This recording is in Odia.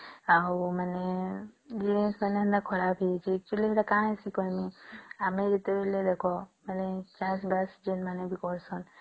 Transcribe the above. ଆଉ ମାନେ ବୀଜ ମାନେ ବି ଖରାପ ହେଇଚି Actually ଏଟା କଣ କହିବି ଆମେ ଯେତେବେଳେ ଦେଖ ମାନେ ବେଷ୍ଟ ଜଣ ମାନେ ବି କହିସନ